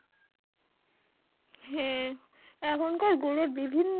হ্যাঁ এখনকার গুড়ের বিভিন্ন